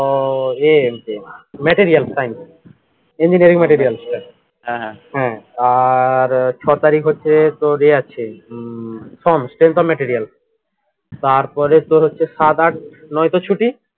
উহ এ আছে material science engineering material হ্যা আর ছয় তারিখ হচ্ছে তোর এ আছে উম material তারপরে তোর হচ্ছে সাত আট নয় তো ছুটি